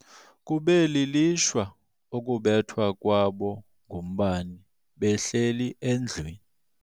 Kube lilishwa ukubethwa kwabo ngumbane behleli endlwini.